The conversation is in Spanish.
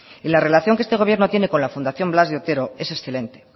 y la relación que este gobierno tiene con la fundación blas de otero es excelente